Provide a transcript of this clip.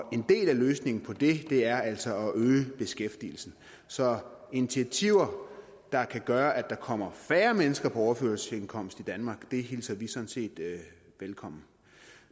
en del af løsningen på det er altså at øge beskæftigelsen så initiativer der kan gøre at der kommer færre mennesker på overførselsindkomst i danmark hilser vi sådan set velkommen